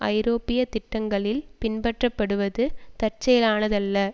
ஐரோப்பிய திட்டங்களில் பின்பற்றப்படுவது தற்செயலானதல்ல